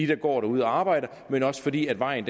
der går derude og arbejder men også fordi vejen